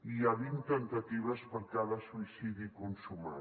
hi ha vint temptatives per cada suïcidi consumat